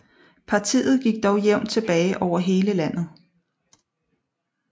Partiet gik dog jævnt tilbage over hele landet